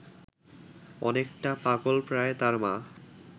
অনেকটা পাগলপ্রায় তার মা